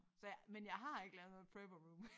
Så jeg men jeg har ikke lavet noget prepper room